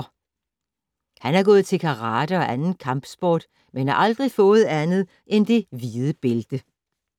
Han har gået til karate og anden kampsport, men har aldrig fået andet end det hvide bælte